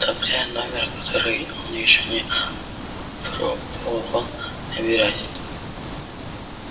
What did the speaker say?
оставляя номер который он ещё не пробовал набирать